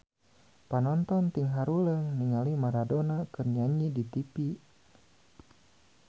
Panonton ting haruleng ningali Maradona keur nyanyi di tipi